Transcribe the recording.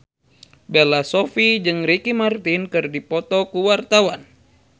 Bella Shofie jeung Ricky Martin keur dipoto ku wartawan